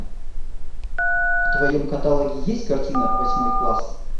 в твоем каталоге есть картина восьмой класс